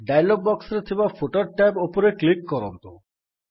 dialog ବକ୍ସରେ ଥିବା footer tab ଉପରେ କ୍ଲିକ୍ କରନ୍ତୁ